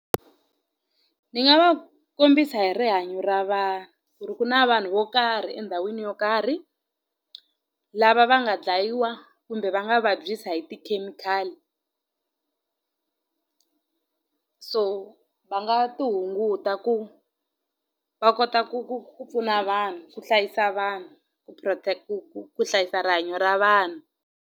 Ni nga va kombisa hi rihanyo ra vanhu ku ri ku na vanhu vo karhi endhawini yo karhi lava va nga dlayiwa kumbe va nga vabyisa hi tikhemikhali so va nga ti hunguta ku va kota ku ku ku pfuna vanhu ku hlayisa vanhu ku protect ku ku ku hlayisa rihanyo ra vanhu.